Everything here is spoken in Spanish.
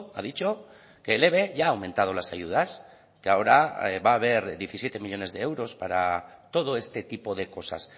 ha dicho que el eve ya ha aumentado las ayudas que ahora va a haber diecisiete millónes de euros para todo este tipo de cosas